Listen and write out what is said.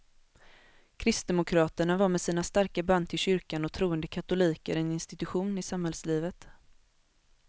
Kristdemokraterna var med sina starka band till kyrkan och troende katoliker en institution i samhällslivet.